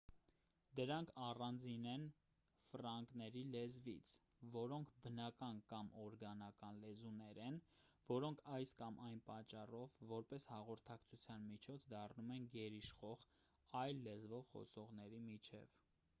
դրանք առանձին են ֆրանկների լեզվից որոնք բնական կամ օրգանական լեզուներ են որոնք այս կամ այն պատճառով որպես հաղորդակցության միջոց դառնում են գերիշխող այլ լեզվով խոսողների միջև